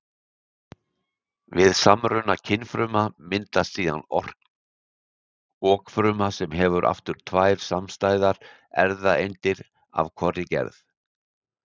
Við samruna kynfrumna myndast síðan okfruma sem hefur aftur tvær samstæðar erfðaeindir af hvorri gerð.